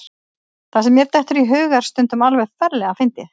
Það sem mér dettur í hug er stundum alveg ferlega fyndið.